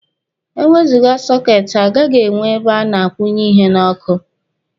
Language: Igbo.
E wezụga sọketi, a gaghị enwe ebe a na-akwụnye ihe n'ọkụ.